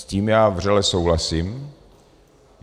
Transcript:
S tím já vřele souhlasím.